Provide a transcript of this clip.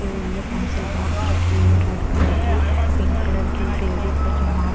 हुई है pencil box रखी हुई है रेड कलर की पिंक कलर की एक लेडीज है जो मास --